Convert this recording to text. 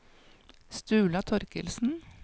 Sturla Thorkildsen